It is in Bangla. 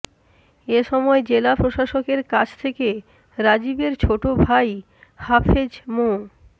এ সময় জেলা প্রাশাসকের কাছ থেকে রাজিবের ছোট ভাই হাফেজ মো